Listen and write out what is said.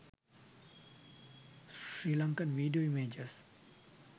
sri lankan video images